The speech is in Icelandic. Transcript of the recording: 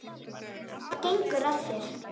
Hvað gengur að þér?